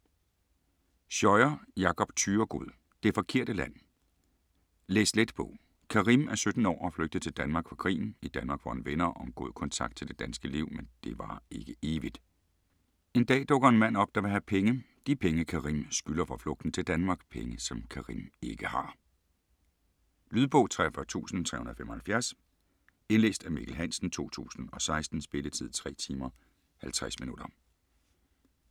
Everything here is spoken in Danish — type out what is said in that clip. Scheuer, Jakob Thyregod: Det forkerte land Læs-let bog. Karim er 17 år og flygtet til Danmark fra krigen. I Danmark får han venner og en god kontakt til det danske liv, men det varer ikke evigt. En dag dukker en mand op, der vil have penge - de penge Karim skylder for flugten til Danmark. Penge som Karim ikke har. Lydbog 43375 Indlæst af Mikkel Hansen, 2016. Spilletid: 3 timer, 50 minutter.